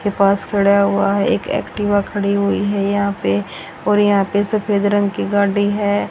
के पास खड़ा हुआ है एक एक्टिवा खड़ी हुई है यहां पे और यहां पे सफेद रंग की गाड़ी है।